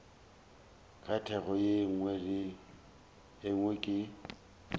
ka thoko ye nngwe ke